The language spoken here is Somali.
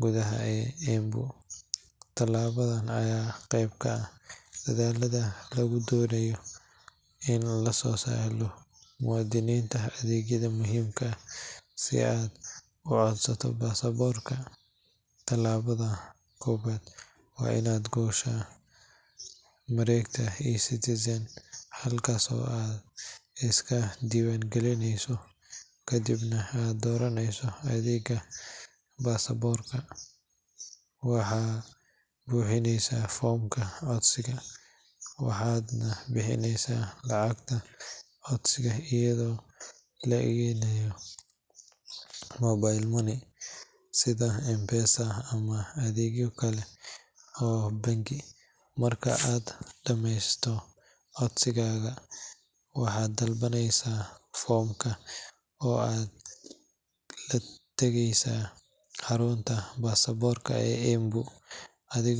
gudaha Embu. Tallaabadan ayaa qayb ka ah dadaalka lagu doonayo in loo sahlo muwaadiniinta adeegyada muhiimka ah. Si aad u codsato baasaboorka, tallaabada koowaad waa inaad gashaa mareegta eCitizen, halkaas oo aad iska diiwaangelinayso kadibna aad dooranayso adeegga baasaboorka. Waxaad buuxinaysaa foomka codsiga, waxaadna bixinaysaa lacagta codsiga iyadoo la adeegsanayo mobile money sida M-Pesa ama adeegyo kale oo bangi. Marka aad dhammayso codsigaaga, waxaad daabacaysaa foomka oo aad la tagaysaa xarunta baasaboorka ee Embu, adigoo.